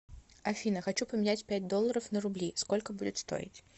афина хочу поменять пять долларов на рубли сколько будет стоить